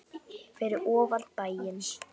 Fyrir ofan bæinn.